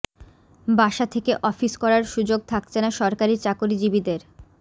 বাসা থেকে অফিস করার সুযোগ থাকছে না সরকারি চাকরিজীবীদের